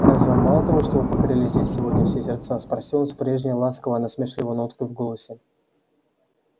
разве вам мало того что вы покорили здесь сегодня все сердца спросил он с прежней ласково-насмешливой ноткой в голосе